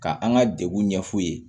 Ka an ka degun ɲɛf'u ye